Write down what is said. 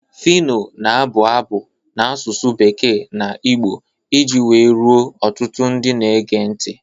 Phyno na-abụ abụ n'asụsụ bekee na Igbo iji wee ruo ọtụtụ ndị na-ege ntị.